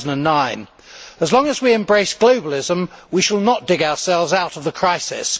2009. As long as we embrace globalism, we shall not dig ourselves out of the crisis.